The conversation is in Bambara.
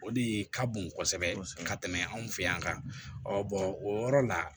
O de ka bon kosɛbɛ ka tɛmɛ anw fɛ yan o yɔrɔ la